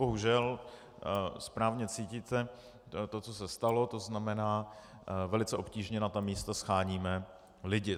Bohužel správně cítíte to, co se stalo, to znamená, velice obtížně na ta místa sháníme lidi.